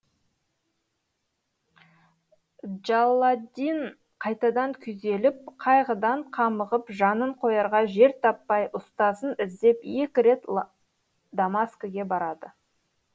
джалладдин қайтадан күйзеліп қайғыдан қамығып жанын қоярға жер таппай ұстазын іздеп екі рет дамаскіге барады